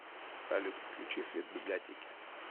салют включи свет в библиотеке